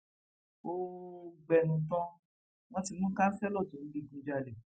ó ó gbẹnu tán wọn ti mú kánṣẹlò tó ń digunjalè